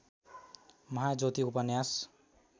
महाज्योति उपन्यास